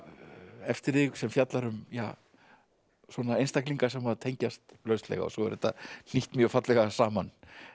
eftir þig sem fjallar um einstaklinga sem tengjast lauslega og svo er þetta hnýtt mjög fallega saman